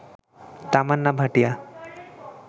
Tamannaah Bhatia